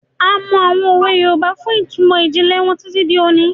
A mọ àwọn òwe Yorùbá fún ìtumọ̀ ìjìnlẹ̀ wọn títí di òní.